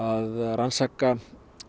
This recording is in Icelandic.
rannsaka